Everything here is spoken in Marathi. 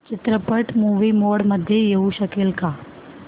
चित्रपट मूवी मोड मध्ये येऊ शकेल का